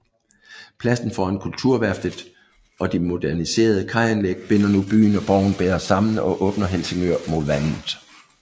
Pladsen foran Kulturværftet og de moderniserede kajanlæg binder nu byen og borgen bedre sammen og åbner Helsingør mod vandet